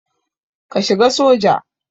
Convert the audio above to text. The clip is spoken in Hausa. Ka shiga soja.